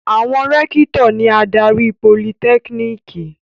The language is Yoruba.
Àwọn rẹ́kítọ̀ ni adarí politẹ́kíníkì.